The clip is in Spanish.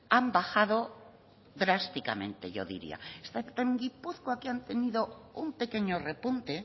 han bajado drásticamente yo diría excepto en gipuzkoa que han tenido un pequeño repunte